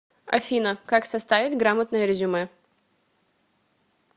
афина как составить грамотное резюме